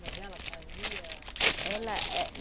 Mas ela fazia? Ela éh